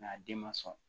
a den ma sɔn